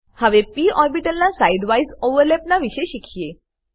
હવે પ ઓર્બીટલ ના સાઈડ વાઈઝ ઓવરલેપના વિષે શીખીએ